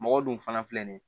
Mɔgɔ dun fana filɛ nin ye